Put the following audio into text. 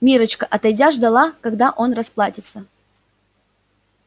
миррочка отойдя ждала когда он расплатится